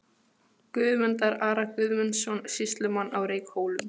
Guðmundar, Ara Guðmundsson, sýslumann á Reykhólum.